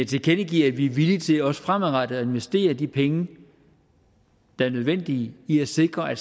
tilkendegiver at vi er villige til også fremadrettet at investere de penge der er nødvendige i at sikre at